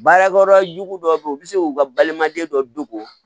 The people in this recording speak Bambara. Baarakɛyɔrɔ jugu dɔ bɛ yen u bɛ se k'u ka balimaden dɔ dogo